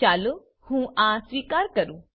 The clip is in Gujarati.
ચાલો હું આ સ્વીકાર કરું